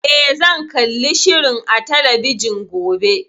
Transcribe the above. Eh, zan kalli shirin a talabijin gobe.